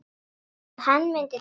Að hann myndi deyja.